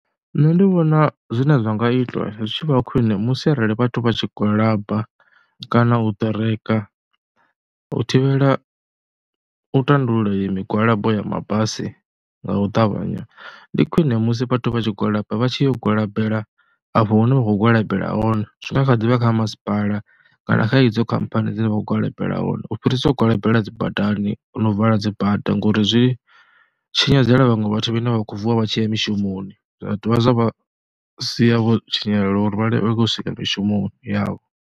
Nṋe ndi vhona zwine zwi nga itwa zwi tshi vha khwiṋe musi arali vhathu vha tshi gwalaba kana u ṱereka u thivhela u tandulula iyo migwalabo ya mabasi nga u ṱavhanya. Ndi khwine musi vhathu vha tshi gwalaba vha tshi yo gwalabela afho hune vha khou gwalabela hone, zwi nga kha ḓivha kha masipala kana kha idzo khamphani dzine vha khou gwalabela hone, u fhirisa u gwalabela dzi badani no u vala dzi bada ngori zwi tshinyadzela vhaṅwe vhathu vhane vha khou vuwa vha tshi ya mishumoni, zwa dovha zwa sia vho tshinyalelwa uri vha i lenge u swika mishumoni yavho.